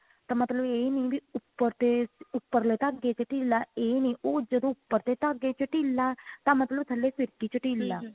ਤਾਂ ਮਤਲਬ ਇਹ ਨਹੀਂ ਵੀ ਉੱਪਰ ਤੇ ਉੱਪਰਲੇ ਧਾਗੇ ਤੇ ਢਿੱਲ ਇਹ ਨਹੀਂ ਉਹ ਜਦੋਂ ਉਪਰਲੇ ਧਾਗੇ ਚ ਢਿੱਲ ਆ ਤਾਂ ਮਤਲਬ ਥੱਲੇ ਫਿਰਕੀ ਚ ਢਿੱਲ ਆ